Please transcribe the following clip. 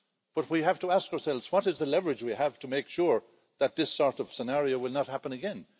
But we have to ask ourselves what is the leverage we have to make sure that this sort of scenario will not happen again?